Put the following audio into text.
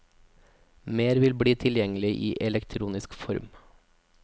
Mer vil bli tilgjengelig i elektronisk form.